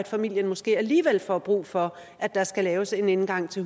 familien måske alligevel får brug for at der skal laves en indgang til